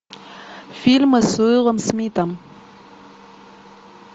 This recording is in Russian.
фильмы с уиллом смитом